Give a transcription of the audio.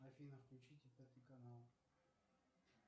афина включите пятый канал